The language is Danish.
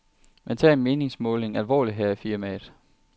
Man tager en meningsmåling alvorligt her i firmaet.